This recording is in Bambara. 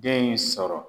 Den in sɔrɔ